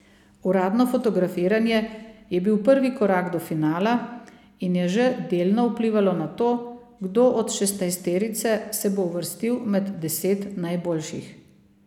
Uradno fotografiranje je bil prvi korak do finala in je že delno vplivalo na to, kdo od šestnajsterice se bo uvrstil med deset najboljših.